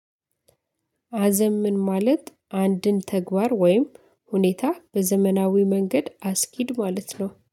አዘምን ማለት አንድን ተግባር ወይም ሁኔታ በዘመናዊ መንገድ አስኪድ ማለት ነው